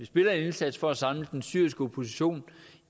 vi gør en indsats for at samle den syriske opposition